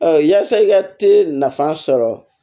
yaasa i ka te nafan sɔrɔ